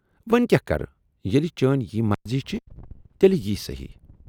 وۅنۍ کیاہ کرٕ ییلہِ چٲنۍ یی مرضی چھِ تیلہِ یی صحٔی۔